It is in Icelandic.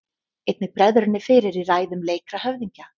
Einnig bregður henni fyrir í ræðum leikra höfðingja.